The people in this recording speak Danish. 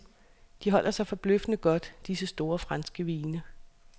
De holder sig forbløffende godt disse store franske vine.